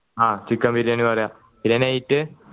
ആ ഉച്ചയ്ക്ക് ആ ബിരിയാണി പറയാ പിന്നെ night